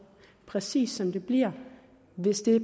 præcis som det bliver hvis dette